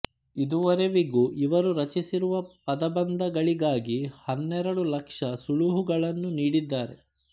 ಇದುವರೆವಿಗೂ ಇವರು ರಚಿಸಿರುವ ಪದಬಂಧಗಳಿಗಾಗಿ ಹನ್ನೆರಡು ಲಕ್ಷ ಸುಳುಹುಗಳನ್ನು ನೀಡಿದ್ದಾರೆ